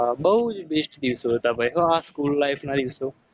બહુ જ best દિવસો હતા. ભાઈ હો આ school life ના દિવસો